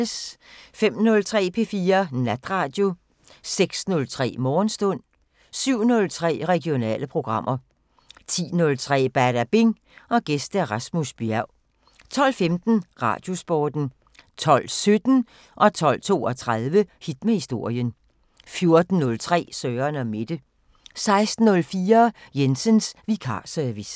05:03: P4 Natradio 06:03: Morgenstund 07:03: Regionale programmer 10:03: Badabing: Gæst Rasmus Bjerg 12:15: Radiosporten 12:17: Hit med historien 12:32: Hit med historien 14:03: Søren & Mette 16:04: Jensens vikarservice